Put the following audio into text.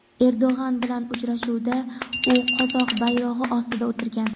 Erdo‘g‘an bilan uchrashuvda u qozoq bayrog‘i ostida o‘tirgan.